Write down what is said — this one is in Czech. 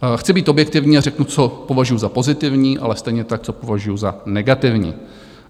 Chci být objektivní a řeknu, co považuju za pozitivní, ale stejně tak, co považuju za negativní.